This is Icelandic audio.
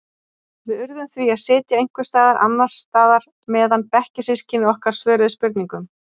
Við urðum því að sitja einhvers staðar annars staðar meðan bekkjarsystkini okkar svöruðu spurningunum.